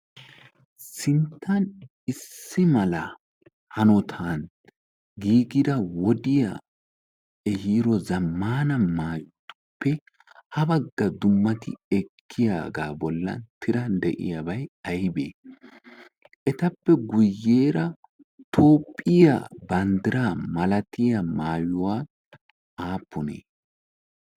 Sinttan issi mala hanotan giigida wodiya ehiido zammaana maayotuppe ha bagga dummati ekkiyagaa bollan tiran de'iyabay aybee? Etappe guyyeera Toophphiya banddiraa malatiya maayuwa aappunee?